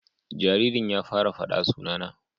Jaririn ya fara fada sunana